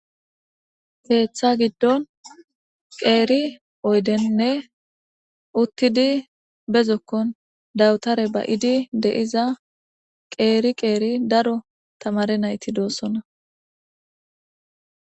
keetha giddon qeeri oydenn uttidi be zokkon dawutaare ba7idi de7iza qeeri qeeri daro tamaare nayti doosona.